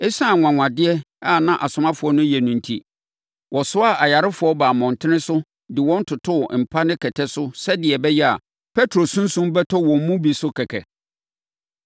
Esiane anwanwadeɛ a na asomafoɔ no reyɛ no enti, wɔsoaa ayarefoɔ baa mmɔntene so de wɔn totoo mpa ne kɛtɛ so sɛdeɛ ɛbɛyɛ a, Petro sunsum bɛtɔ wɔn mu bi so kɛkɛ.